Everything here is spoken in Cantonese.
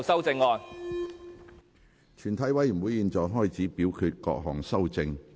全體委員會現在開始表決各項修正案。